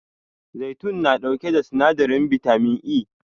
Zaitun na ɗauke da sinadarin bitamin E